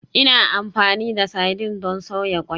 Ina amfani da sardine don soya ƙwai.